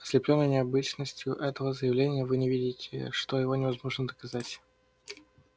ослеплённые необычностью этого заявления вы не видите что его невозможно доказать